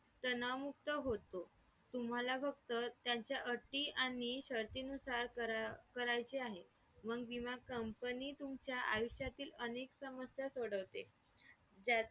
एखादे client कसे बोलतात. business related जे आपले हे असतात material असतात त्यांचा बद्दल आपण information घेतो त्याचा मध्ये